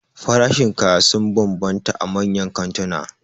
Farashin kaya sun banbanta a manyan kantuna